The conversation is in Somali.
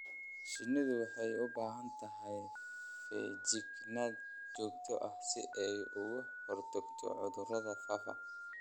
Shinnidu waxay u baahan tahay feejignaan joogto ah si ay uga hortagto cudurrada faafa.